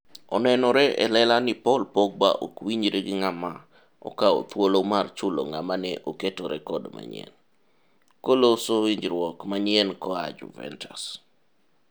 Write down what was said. Onenore e lela ni Paul Pogba ok winjre gi ng'ama okawo thuolo mar chulo ng'ama ne oketo rekod manyien ?9m koloso winjruok manyien koa Juventus.